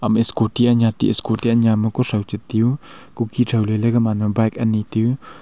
scooty anya tiu scooty anya ma kuthow chi tai u kukhe thow le la gaman ma bike ani ti u.